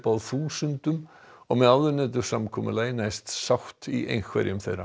á þúsundum og með áðurnefndu samkomulagi næst sátt í einhverjum þeirra